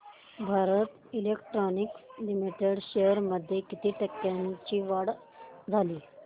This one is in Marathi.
भारत इलेक्ट्रॉनिक्स लिमिटेड शेअर्स मध्ये किती टक्क्यांची वाढ झाली